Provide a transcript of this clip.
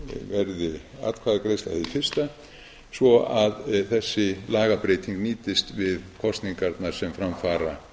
verði atkvæðagreiðsla hið fyrsta svo að þessi lagabreyting nýtist við kosningarnar sem fram fara